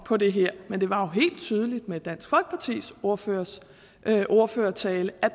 på det her men det var jo helt tydeligt med dansk folkepartis ordførers ordførertale at